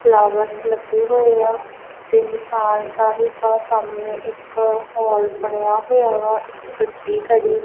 flowers ਲੱਗੇ ਹੋਏ ਆ ਤੇ ਨਿਸ਼ਾਨ ਸਾਹਿਬ ਆ ਸਾਹਮਣੇ ਇੱਕ ਹੋਲ ਬਣਿਆ ਹੋਇਆ ਵਾ ਇੱਕ ਗੱਡੀ ਖੜੀ --